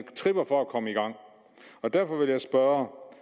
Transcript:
tripper for at komme i gang derfor vil jeg spørge